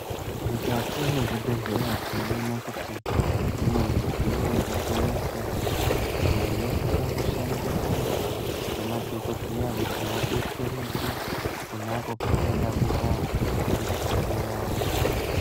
Mukati mezvibhehlera tinoona kuti mune midziyo yakasiyana siyana, iyo inosisa kushandiswa ngemadhokodheya kuti vabetsereke konapo pavanoda kuita mushando yavo.